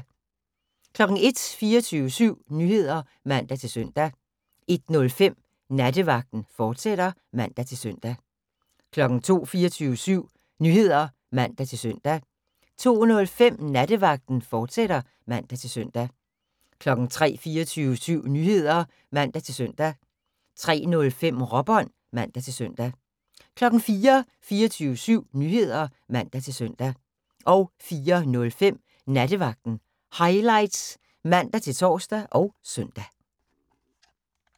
01:00: 24syv Nyheder (man-søn) 01:05: Nattevagten, fortsat (man-søn) 02:00: 24syv Nyheder (man-søn) 02:05: Nattevagten, fortsat (man-søn) 03:00: 24syv Nyheder (man-søn) 03:05: Råbånd (man-søn) 04:00: 24syv Nyheder (man-søn) 04:05: Nattevagten Highlights (man-tor og søn)